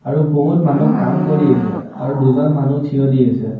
আৰু বহুত মানুহ কাম কৰি আছে আৰু দুজন মানুহ থিয় দি আছে।